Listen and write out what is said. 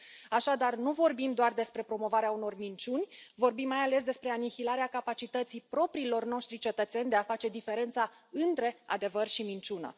Așadar, nu vorbim doar despre promovarea unor minciuni, vorbim, mai ales, despre anihilarea capacității propriilor noștri cetățeni de a face diferența între adevăr și minciună.